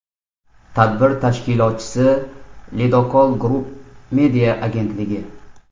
Tadbir tashkilotchisi Ledokol Group media agentligi.